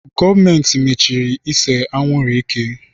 Gọọmenti machiri ise anwụrụ ike.